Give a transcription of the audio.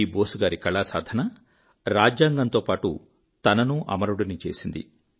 ఈ బోస్ గారి కళాసాధన రాజ్యాంగంతో పాటు తననూ అమరుడిని చేసింది